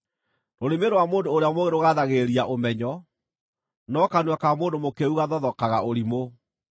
Rũrĩmĩ rwa mũndũ ũrĩa mũũgĩ rũgaathagĩrĩria ũmenyo, no kanua ka mũndũ mũkĩĩgu gathothokaga ũrimũ.